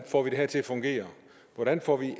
får det her til at fungere hvordan får vi